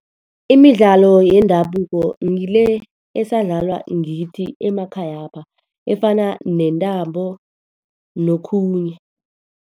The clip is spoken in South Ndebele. Imidlalo yendabuko ngile esadlalwa ngithi emakhayapha. Efana nentambo, nokhunye.